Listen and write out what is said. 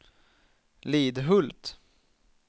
Lidhult